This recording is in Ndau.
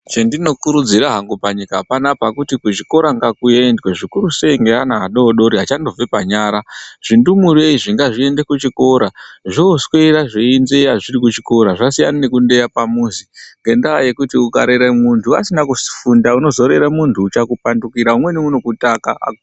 Chendinokurudzira hangu panyika panapa kuti kuzvikora ngakuendwe zvikurusei ngeana adodori achandobve panyara. Zvindumure izvi ngazviende kuchikora, zvooswera zveindeya zviri kuchikora. Zvasiyana nekundeya pamuzi ,ngendaa yekuti ukarere munhu asina kusifunda unozorere munthu unozokupandukira umweni unokutakaa.